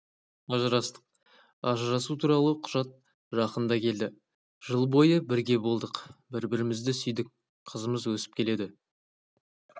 ажырастық ажырасу туралы құжат жақында келді жыл бойы бірге болдық бір-бірімізді сүйдік қызымыз өсіп келеді